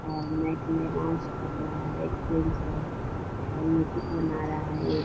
और माइक में अनाउंस कर रहा है एक जेंट्स है और म्यूजिक बना रहा है एक ।